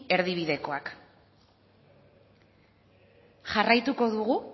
erdibidekoak jarraituko dugu